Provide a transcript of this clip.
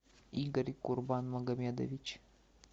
игорь курбанмагомедович